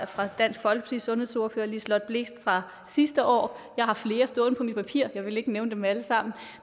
fra dansk folkepartis sundhedsordfører fru liselott blixt fra sidste år jeg har flere stående på mit papir jeg vil ikke nævne dem alle sammen